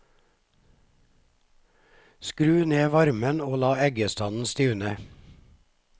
Skru ned varmen og la eggestanden stivne.